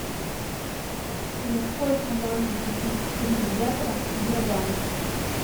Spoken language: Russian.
за сколько можно купить три евро в сбербанке